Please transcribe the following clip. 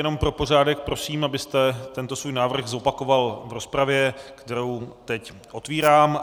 Jenom pro pořádek prosím, abyste tento svůj návrh zopakoval v rozpravě, kterou teď otvírám.